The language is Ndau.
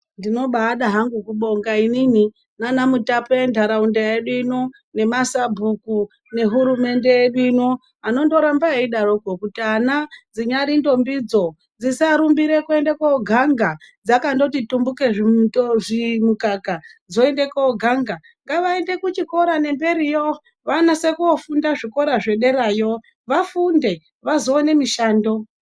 Ndinobaada hangu kubonga inini nana mutape endaraunda yedu ino nemasabhuku nehurumende yedu ino anondoramba eidaroko kuti ana dzinyari ntombidzo dzisarumbire kuenda koganga dzakangoti tumbukei zvimukaka dzoende koganga ngavaende kuchikora ngembiriyo vanase kofunda zvikora zvederayo vafunde vazoona mishando.